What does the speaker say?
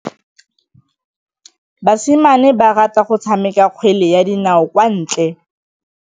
Basimane ba rata go tshameka kgwele ya dinaô kwa ntle.